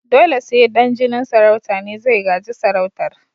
Dole sai dan jinin sarauta ne zai gaji sarautar